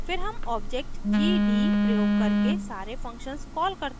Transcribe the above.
फिर हम object gd प्रयोग करके सारे functions कॉल करते हैं